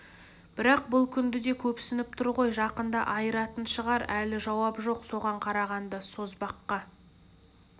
бірақ бұл күнді де көпсініп тұр ғой жақында айыратын шығар әлі жауап жоқ соған қарағанда созбаққа